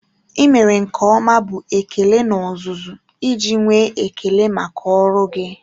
I mere nke ọma bụ ekele n'ozuzu iji nwee ekele maka ọrụ gị